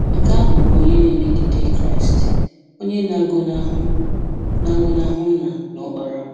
Nke ahụ bụ onye na-emegide Kraịst, onye na-agọnahụ na-agọnahụ Nna na Ọkpara.